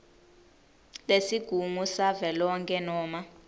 lesigungu savelonkhe noma